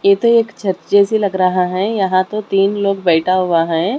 ये तो एक छत जैसी लग रहा है यहां तो तीन लोग बैठा हुआ है।